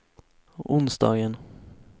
onsdagen